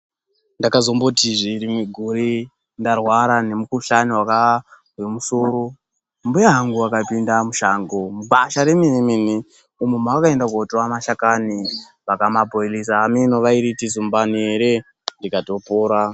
Ndakazombotizve rimwe gore ndarwara ngemukhuhlani wemusoro ,mbuya angu akapinde mushango mugwasha remene-mene umo ma akaenda kunotora mashakani vakamaboilisa hameno kuti variyi zumbani here ndikatopora.